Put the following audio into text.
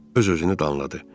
Öz-özünü danladı.